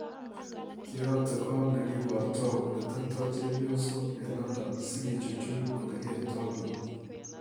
Kiyate Got negibartoi ole teptoi chepiosyok eng London sigechuchui ole kertoi bik